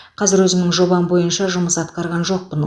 қазір өзімнің жобам бойынша жұмыс атқарған жоқпын